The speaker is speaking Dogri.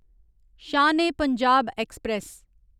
शान ई पंजाब ऐक्सप्रैस